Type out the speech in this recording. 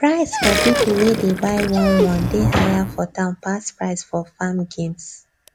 price for people wey dey buy one one dey higher for town pass price for farm games